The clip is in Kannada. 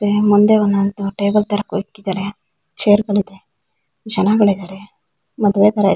ಮತ್ತೆ ಮುಂದೆ ಒಂದ್ ಒಂದ್ ಟೇಬಲ್ ತರಾ ಇಕ್ಕಿದ್ದಾರೆ ಚೇರ್ಗಳಿವೆ ಜನಗಳಿದ್ದರೆ ಮದುವೆ ತರ ಇದೆ.